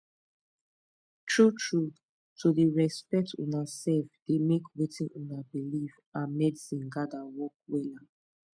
true trueto dey respect una sef dey make wetin una believe and medicine gather work wella